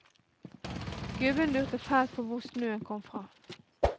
Gubben lurte fælt på hvor snøen kom fra.